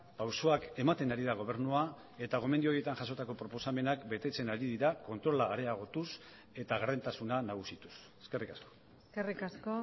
pausoak ematen ari da gobernua eta gomendio horietan jasotako proposamenak betetzen ari dira kontrola areagotuz eta gardentasuna nagusituz eskerrik asko eskerrik asko